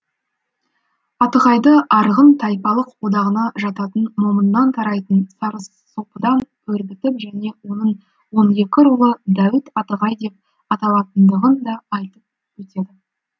атығайды арғын тайпалық одағына жататын момыннан тарайтын сарысопыдан өрбітіп және оның он екі рулы дәуіт атығай деп аталатындығын да айтып өтеді